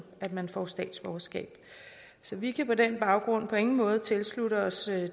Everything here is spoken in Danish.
at man får statsborgerskab vi kan på den baggrund på ingen måde tilslutte os